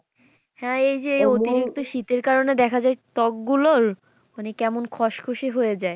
হ্যাঁ এই যে অতিরিক্ত শীতের কারণে দেখা যায় ত্বকগুলোর মানে কেমন খসখসে হয়ে যায়।